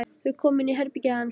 Þau koma inn í herbergið hans.